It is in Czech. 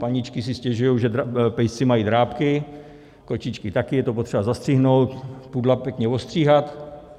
Paničky se stěžují, že pejsci mají drápky, kočičky také, je to potřeba zastřihnout, pudla pěkně ostříhat.